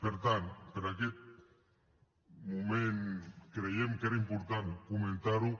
per tant per aquest moment creiem que era important comentar ho